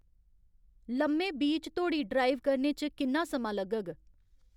लम्मे बीच धोड़ी ड्राइव करने च किन्ना समां लग्गग